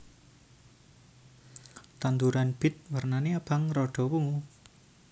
Tanduran bit wernané abang rada wungu